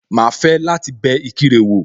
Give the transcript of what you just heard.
Màá fẹ́ láti bẹ Ìkirè wò